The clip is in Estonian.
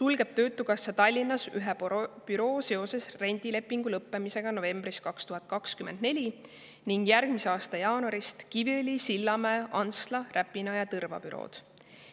sulgeb töötukassa Tallinnas ühe büroo seoses rendilepingu lõppemisega novembris 2024 ning järgmise aasta jaanuarist Kiviõli, Sillamäe, Antsla, Räpina ja Tõrva büroo.